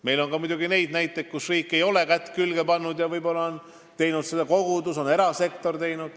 Meil on muidugi ka neid näiteid, kus riik ei ole kätt külge pannud ja võib-olla on teinud seda kogudus või erasektor.